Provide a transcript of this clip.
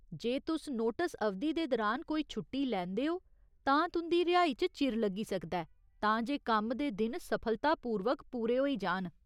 जे तुस नोटस अवधि दे दरान कोई छुट्टी लैंदे ओ, तां तुं'दी रिहाई च चिर लग्गी सकदा ऐ, तां जे कम्म दे दिन सफलतापूर्वक पूरे होई जान।